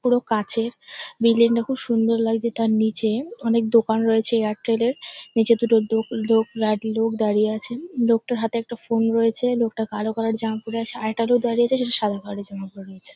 পুরো কাচের বিল্ডিংটা খুব সুন্দর লাগছে। তার নিচে অনেক দোকান রয়েছে এয়ারটেলের । নিচে দুটো দক দক লোক দাড়িয়ে আছেন। লোকটার হাতে একটা ফোন রয়েছে। লোকটা কালো কালার - এর জামা পরে আছে। আরেকটা লোক দাড়িয়ে আছে যেটা সাদা কালার - এর জামা পরে রয়েছে ।